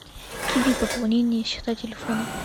киви пополнение счета телефона